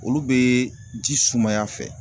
Olu bɛ ji sumaya fɛ.